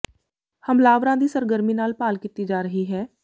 ਹਮਲਾਵਰਾਂ ਦੀ ਸਰਗਰਮੀ ਨਾਲ ਭਾਲ ਕੀਤੀ ਜਾ ਰਹੀ ਹੈ